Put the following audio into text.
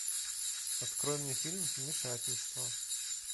открой мне фильм вмешательство